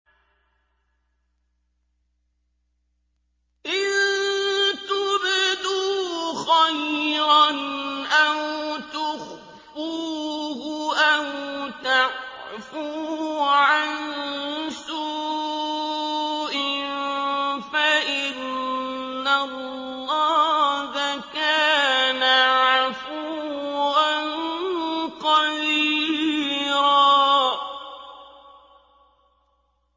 إِن تُبْدُوا خَيْرًا أَوْ تُخْفُوهُ أَوْ تَعْفُوا عَن سُوءٍ فَإِنَّ اللَّهَ كَانَ عَفُوًّا قَدِيرًا